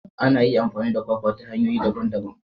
Ana iya amfani da kwakwa ta hanyoyi daban-daban.